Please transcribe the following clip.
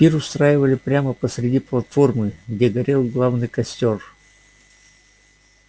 пир устраивали прямо посреди платформы где горел главный костёр